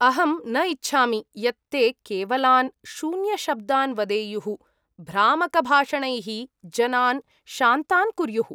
अहं न इच्छामि यत् ते केवलान् शून्यशब्दान् वदेयुः, भ्रामकभाषणैः जनान् शान्तान् कुर्युः।